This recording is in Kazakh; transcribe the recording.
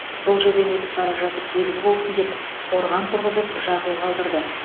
бұл жерден өтіп бара жатып белгі болсын деп қорған тұрғызып жазу қалдырды